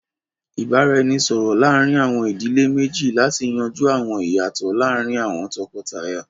Ìbáraẹnisọ̀rọ̀ láàrin àwọn ìdílé méjì láti yanjú àwọn ìyàtọ̀ láàrín àwọn tọkọtaya